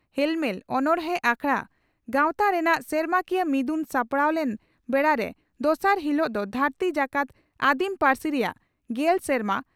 ᱦᱮᱞᱢᱮᱞ ᱚᱱᱚᱬᱦᱮ ᱟᱠᱷᱲᱟ ᱜᱟᱶᱛᱟ ᱨᱮᱱᱟᱜ ᱥᱮᱨᱢᱟᱠᱤᱭᱟᱹ ᱢᱤᱫᱩᱱ ᱥᱟᱯᱲᱟᱣ ᱞᱮᱱ ᱵᱮᱲᱟᱨᱮ ᱫᱚᱥᱟᱨ ᱦᱤᱞᱚᱜ ᱫᱚ ᱫᱷᱟᱹᱨᱛᱤ ᱡᱟᱠᱟᱛ ᱟᱹᱫᱤᱢ ᱯᱟᱹᱨᱥᱤ ᱨᱮᱭᱟᱜ ᱺ ᱜᱮᱞ ᱥᱮᱨᱢᱟ